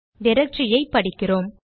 directory ஐ படிக்கிறோம்